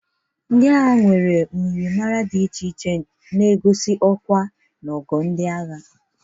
Ndị agha nwere uwe myịrịmara dị iche na egozi ọkwa na ogo ndị agha.